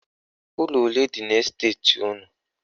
Ụlọ ole dị n' esteti unu?